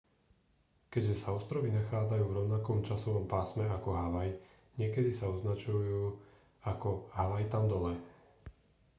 keďže sa ostrovy nachádzajú v rovnakom časovom pásme ako havaj niekedy sa označujú ako havaj tam dole